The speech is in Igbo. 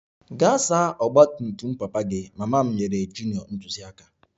Gaa saa ọgba tum tum papa gị! Mama m nyere junior ntụziaka